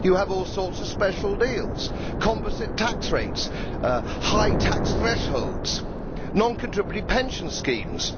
They have all sorts of special deals composite tax rates, high tax thresholds, non contributory pension schemes.